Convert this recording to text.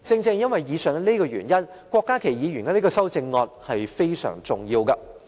正因如此，郭家麒議員提出的修正案是非常重要的。